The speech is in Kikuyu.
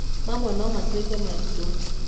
Mamwe no matuĩke maritũ.